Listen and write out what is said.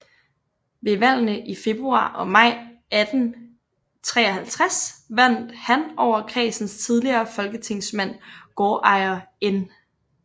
Ved valgene i februar og maj 1853 vandt han over kredsens tidligere folketingsmand gårdejer N